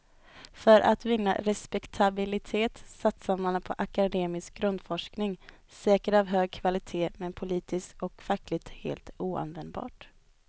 För att vinna respektabilitet satsade man på akademisk grundforskning, säkert av hög kvalitet men politiskt och fackligt helt oanvändbar.